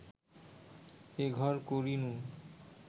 এঘর করিনু